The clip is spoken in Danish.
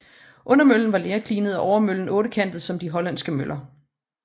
Undermøllen var lerklinet og overmøllen ottekantet som de hollandske møller